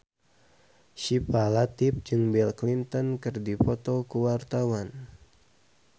Syifa Latief jeung Bill Clinton keur dipoto ku wartawan